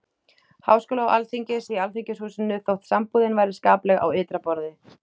Háskóla og Alþingis, í Alþingishúsinu, þótt sambúðin væri skapleg á ytra borði.